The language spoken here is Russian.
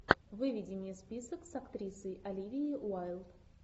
выведи мне список с актрисой оливией уайлд